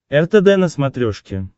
ртд на смотрешке